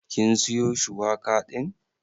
Kin siyo shuwaka din?